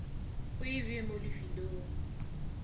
o e bee mo lifelong